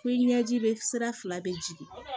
Ko i ɲɛji bɛ sira fila bɛ jigin